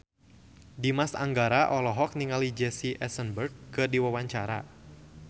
Dimas Anggara olohok ningali Jesse Eisenberg keur diwawancara